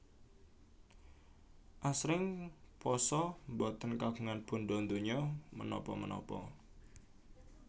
Asring pasa boten kagungan bandha donya menapa menapa